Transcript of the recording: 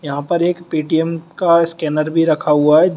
यहां पर एक पेटीएम का स्कैनर भी रखा हुआ है।